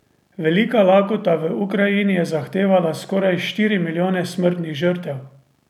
Velika lakota v Ukrajini je zahtevala skoraj štiri milijone smrtnih žrtev!